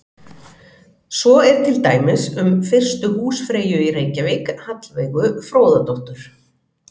Svo er til dæmis um fyrstu húsfreyju í Reykjavík, Hallveigu Fróðadóttur.